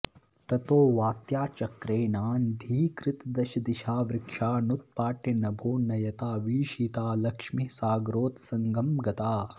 ततो वात्याचक्रेणान्धीकृतदशदिशा वृक्षानुत्पाट्य नभो नयता भीषिता लक्ष्मीः सागरोत्संगं गता